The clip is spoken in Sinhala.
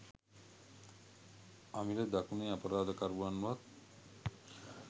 අමිල දකුණේ අපරාධකරුවන්වත්